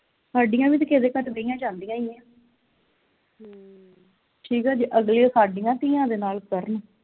ਹਾਡੀਆਂ ਵੀ ਤੇ ਕਿਹੇ ਦੇ ਕੱਟ ਦੀਆਂ ਜਾਂਦੀਆਂ ਈ ਆ ਠੀਕ ਆ ਜੇ ਅਗਲੇ ਸਾਡੀਆਂ ਧੀਆਂ ਦੇ ਨਾਲ ਕਰਨ